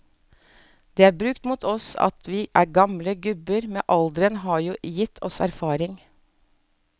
Det er brukt mot oss at vi er gamle gubber, men alderen har jo gitt oss erfaring.